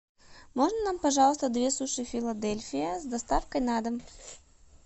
можно нам пожалуйста две суши филадельфия с доставкой на дом